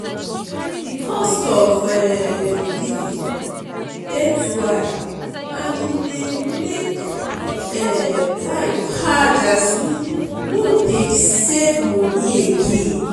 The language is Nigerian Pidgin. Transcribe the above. di cost of um living dey too high and e dey make um life hard as we no dey save money again.